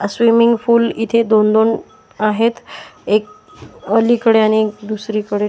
swimming pool इथे दोन दोन आहेत एक अलीकडे आणि दुसरीकडे --